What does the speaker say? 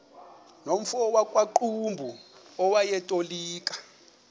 nomfo wakuqumbu owayetolika